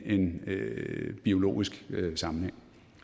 en biologisk sammenhæng